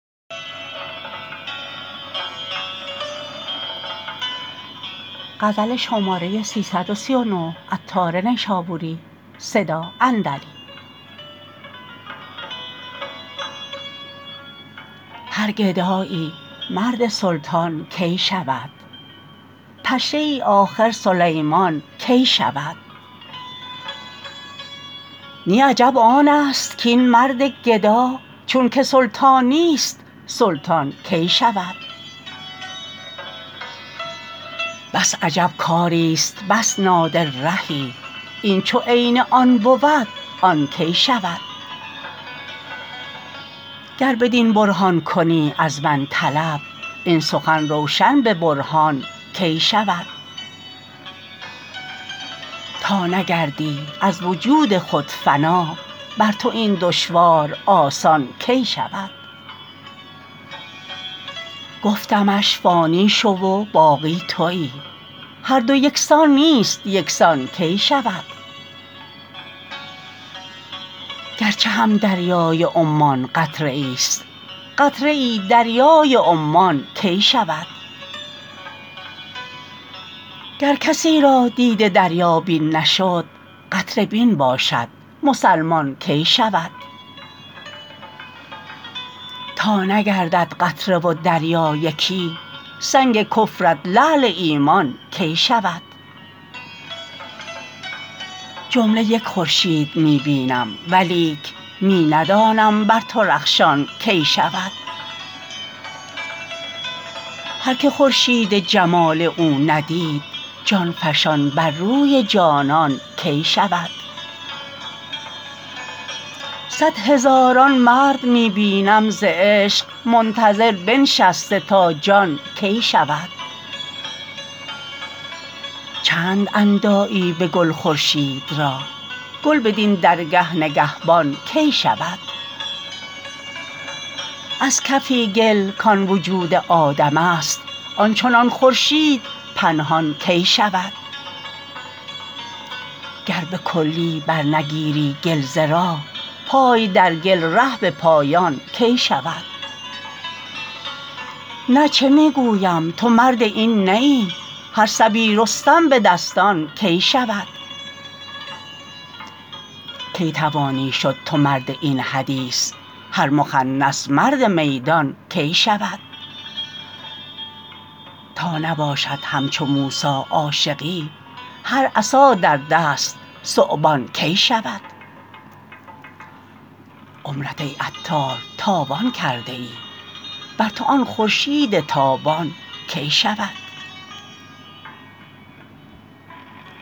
هر گدایی مرد سلطان کی شود پشه ای آخر سلیمان کی شود نی عجب آن است کین مرد گدا چون که سلطان نیست سلطان کی شود بس عجب کاری است بس نادر رهی این چو عین آن بود آن کی شود گر بدین برهان کنی از من طلب این سخن روشن به برهان کی شود تا نگردی از وجود خود فنا بر تو این دشوار آسان کی شود گفتمش فانی شو و باقی تویی هر دو یکسان نیست یکسان کی شود گرچه هم دریای عمان قطره ای است قطره ای دریای عمان کی شود گر کسی را دیده دریابین نشد قطره بین باشد مسلمان کی شود تا نگردد قطره و دریا یکی سنگ کفرت لعل ایمان کی شود جمله یک خورشید می بینم ولیک می ندانم بر تو رخشان کی شود هر که خورشید جمال او ندید جان فشان بر روی جانان کی شود صد هزاران مرد می بینم ز عشق منتظر بنشسته تا جان کی شود چند اندایی به گل خورشید را گل بدین درگه نگهبان کی شود از کفی گل کان وجود آدم است آن چنان خورشید پنهان کی شود گر به کلی برنگیری گل ز راه پای در گل ره به پایان کی شود نه چه می گویم تو مرد این نه ای هر صبی رستم به دستان کی شود کی توانی شد تو مرد این حدیث هر مخنث مرد میدان کی شود تا نباشد همچو موسی عاشقی هر عصا در دست ثعبان کی شود عمرت ای عطار تاوان کرده ای بر تو آن خورشید تابان کی شود